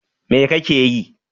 What are you doing?